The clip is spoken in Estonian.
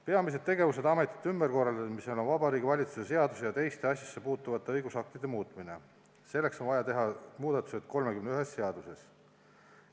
Peamised tegevused ametite ümberkorraldamisel on Vabariigi Valitsuse seaduse ja teiste asjasse puutuvate õigusaktide muutmine, selleks on vaja teha muudatused 31 seaduses.